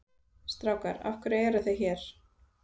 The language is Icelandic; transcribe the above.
Strákar af hverju eruð þið hér?